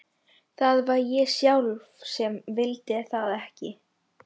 Það var ég sjálf sem vildi það ekki.